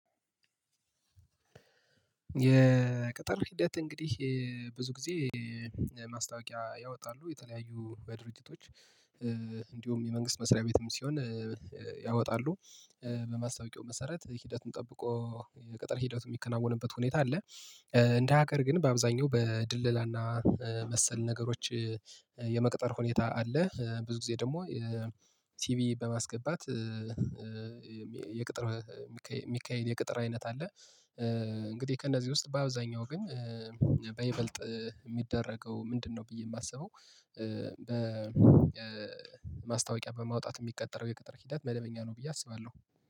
የቅጥር ሂደት እንግዲህ ብዙ ጊዜ ማስታወቂያ ያወጣሉ የተለያዩ በድርጅቶች። እንዲሁም የመንግስት መስሪያ ቤትም ሲሆን ያወጣሉ። በማስታወቂያው መሰረት ሂደቱን ጠብቆ ቅጥር ሂደቱ የሚከናወንበት ሁኔታ አለ። እንደ ሀገር ግን በአብዛኛው በድለላና መሰል ነገሮች የመቅጠር ሁኔታ አለ ብዙ ጊዜ ደግሞ ሲቪ በማስገባት የቅጥር የሚካሄድ የቅጥር አይነት አለ። እንግዲህ ከእነዚህ ውስጥ በአብዛኛው ግን በይበልጥ የሚደረገው ምንድነው? ብዬ የማስበው በማስታወቂያ በማውጣት የሚቀጠረው የቅጥር ሂደት መደበኛ ነው ብዬ አስባለሁ